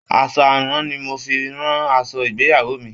Aṣọ àrán ni mo fi rán aṣọ ìgbéyàwó mi.